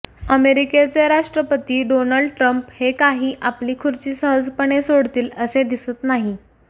अमेरिकेचे राष्ट्रपती Donald Trump हे काही आपली खुर्ची सहजपणे सोडतील असे दिसत नाही